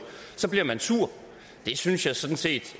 bliver man sur det synes jeg sådan set